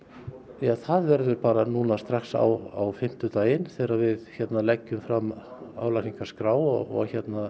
já það verður bara núna strax á fimmtudaginn þegar við leggjum fram álagningarskrá og